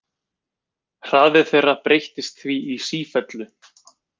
Hraði þeirra breytist því í sífellu.